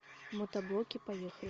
мотоблоки поехали